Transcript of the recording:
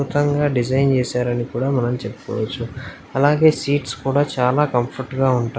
రకంగా డిజైన్ చేసారు అని కూడా చెప్పవచ్చు. అలాగే సీట్స్ కూడా చాలా కంఫోర్టుగా ఉంటాయి.